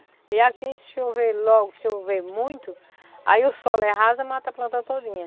E aqui chover logo, chover muito, aí o solo é raso mata a planta todinha.